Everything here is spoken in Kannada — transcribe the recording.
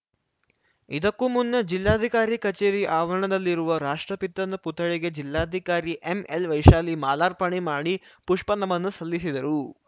ಇದಕ್ಕೂ ಮುನ್ನ ಜಿಲ್ಲಾಧಿಕಾರಿ ಕಚೇರಿ ಆವರಣದಲ್ಲಿರುವ ರಾಷ್ಟ್ರಪಿತನ ಪುತ್ಥಳಿಗೆ ಜಿಲ್ಲಾಧಿಕಾರಿ ಎಂಎಲ್‌ವೈಶಾಲಿ ಮಾರ್ಲಾಪಣೆ ಮಾಡಿ ಪುಷ್ಪ ನಮನ ಸಲ್ಲಿಸಿದರು